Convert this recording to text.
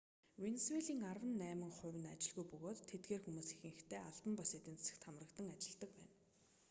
венисуелийн арван найман хувь нь ажилгүй бөгөөд тэдгээр хүмүүс ихэнхдээ албан бус эдийн засагт хамрагдан ажиллдаг байна